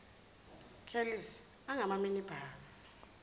kelisi angama minibus